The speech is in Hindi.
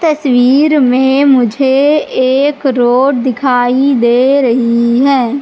तस्वीर में मुझे एक रोड दिखाई दे रही है।